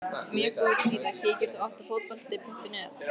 mjög góð síða Kíkir þú oft á Fótbolti.net?